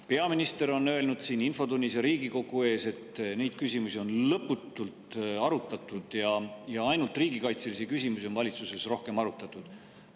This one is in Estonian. Peaminister on öelnud siin infotunnis ja Riigikogu ees, et neid küsimusi on lõputult arutatud ja ainult riigikaitselisi küsimusi on valitsuses rohkem arutatud.